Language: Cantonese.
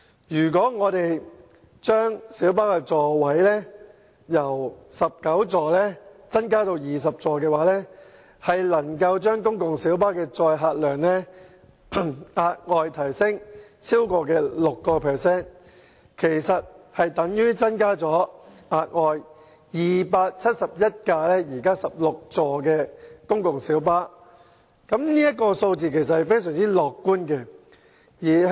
如果把小巴座位數目由19個增加至20個，公共小巴的載客量將可額外提升超過 6%， 相當於額外增加了271部16座位的公共小巴，而這數字是非常樂觀的。